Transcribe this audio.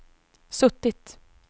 suttit